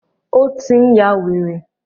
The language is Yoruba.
Ó tí n yá wèrè.